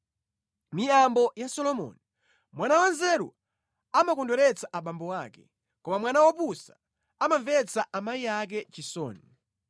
Miyambo ya Solomoni: Mwana wanzeru amakondweretsa abambo ake, koma mwana wopusa amamvetsa amayi ake chisoni.